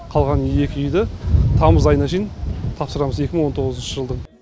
қалған екі үйді тамыз айына шейін тапсырамыз екі мың он тоғызыншы жылдың